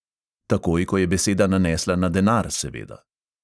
Takoj, ko je beseda nanesla na denar, seveda.